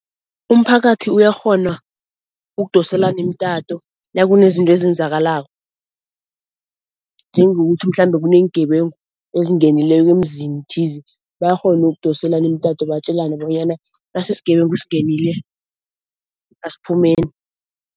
Umphakathi uyakghona ukudoselana imtato nakunezinto ezenzakalako. Njengokuthi mhlambe kuneengebengu ezingenileko emzini thize bayakghona ukudoselana imtato batjelane bonyana nasi isigebengu singenile, asiphumeni.